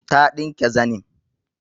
Ta ɗinke zanim